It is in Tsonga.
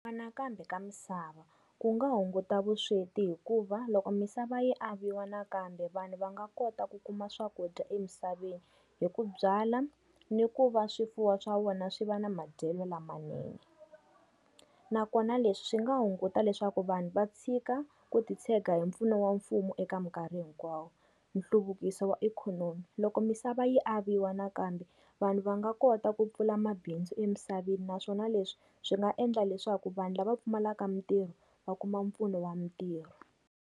ka misava, ku nga hunguta vusweti hikuva loko misava yi aviwa nakambe vanhu va nga kota ku kuma swakudya emisaveni, hi ku byala ni ku va swifuwo swa wona swi va na madyelo lamanene. Nakona leswi swi nga hunguta leswaku vanhu va tshika ku titshega hi mpfuno wa mfumo eka minkarhi hinkwayo. Nhluvukiso wa ikhonomi. Loko misava yi aviwa nakambe, vanhu va nga kota ku pfula mabindzu emisaveni naswona leswi swi nga endla leswaku vanhu lava pfumalaka mintirho va kuma mpfuno wa mintirho.